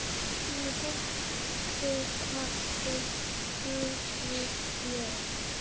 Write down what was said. Í Holti kappinn Þorgeir bjó.